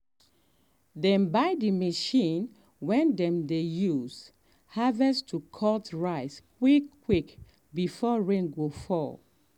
dem um buy the machine way dem dey um use um harvest to cut the rice quick quick before rain go fall.